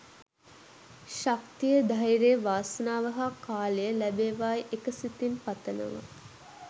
ශක්තිය ධෛර්යය වාසනාව හා කාලය ලැබේවායි එක සිතින් පතනවා